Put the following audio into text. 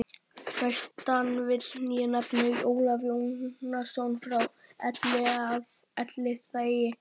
Næstan vil ég nefna Ólaf Jónsson frá Elliðaey.